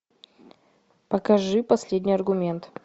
покажи последний аргумент